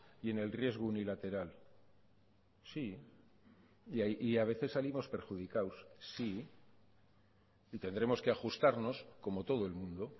y en el riesgo unilateral sí y a veces salimos perjudicados sí y tendremos que ajustarnos como todo el mundo